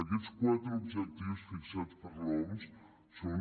aquests quatre objectius fixats per l’oms són